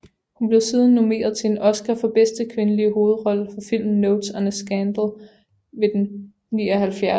Hun blev siden nomineret til en Oscar for bedste kvindelige hovedrolle for filmen Notes on a Scandal ved den 79